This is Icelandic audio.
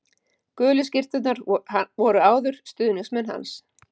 Gulu skyrturnar voru áður stuðningsmenn hans